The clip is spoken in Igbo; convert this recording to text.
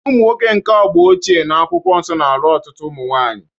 Ụmụnwoke nke agba ochie na Akwụkwọ Nsọ na-alụ ọtụtụ ụmụ nwaanyị